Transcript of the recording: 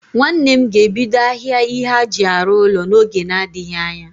Nwanne m ga ebido ahịa ihe aji arụ ụlọ n'oge n'adịghị anya